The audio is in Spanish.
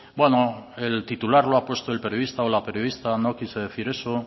bueno el titular lo ha puesto el periodista o la periodista no quise decir eso